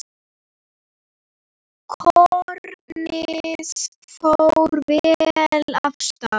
Kornið fór vel af stað.